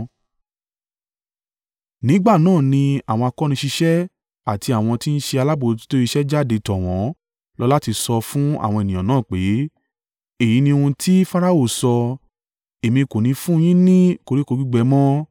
Ní ìgbà náà ni àwọn akóniṣiṣẹ́ àti àwọn tí ń ṣe alábojútó iṣẹ́ jáde tọ̀ wọ́n lọ láti sọ fún àwọn ènìyàn náà pé, “Èyí ni ohun tí Farao sọ, ‘Èmi kò ní fún un yín ni koríko gbígbẹ mọ́.